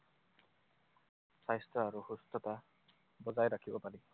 স্বাস্থ্য আৰু সুস্থতা বজাই ৰাখিব পাৰি।